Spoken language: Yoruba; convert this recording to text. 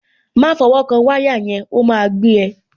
Má fọwọ́ kan wáyà yẹn, ó máa gbé ẹ.